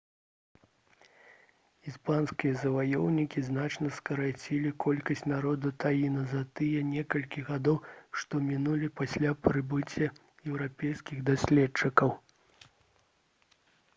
іспанскія заваёўнікі значна скарацілі колькасць народу таіна за тыя некалькі гадоў што мінулі пасля прыбыцця еўрапейскіх даследчыкаў